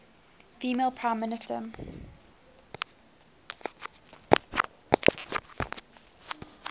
female prime minister